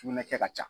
Sugunɛ kɛ ka ca